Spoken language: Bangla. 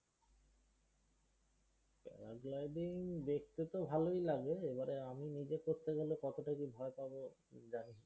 para gliding দেখতে তো ভালই লাগে, এবারে আমি নিজে করতে হলে কততা যে ভয় পাবো